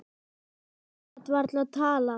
Hann gat varla talað.